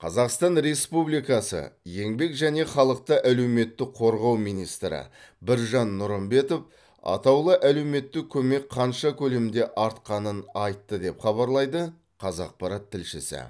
қазақстан республикасы еңбек және халықты әлеуметтік қорғау министрі біржан нұрымбетов атаулы әлеуметтік көмек қанша көлемде артқанын айтты деп хабарлайды қазақпарат тілшісі